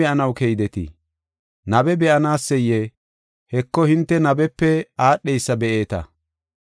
Yaatin, ay be7anaw keydetii? Nabe be7anaseyee? Heko, hinte nabepe aadheysa be7eeta.